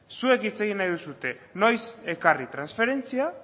zuek hitz egin nahi duzue noiz ekarri transferentzia